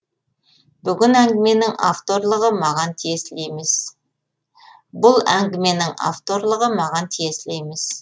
бұл әңгіменің авторлығы маған тиесілі емес